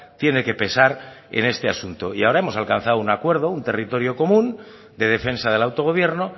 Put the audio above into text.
tiene que pesar en este asunto y ahora hemos alcanzado un acuerdo un territorio común de defensa del autogobierno